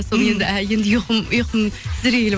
соны енді енді ұйқым сіздерге келіп